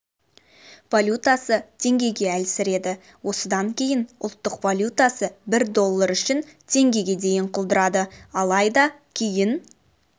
валютасы теңгеге әлсіреді осыдан кейін ұлттық валютасы бір доллар үшін теңгеге дейін құлдырады алайда кейін